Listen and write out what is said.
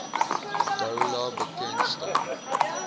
doula bekend staan